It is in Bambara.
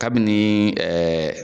Kabini ɛɛ